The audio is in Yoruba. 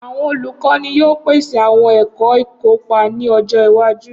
Awọn olukọni yoo pese awọn ẹkọ ikopa ni ọjọ iwaju.